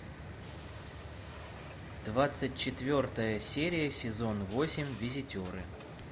двадцать четвертая серия сезон восемь визитеры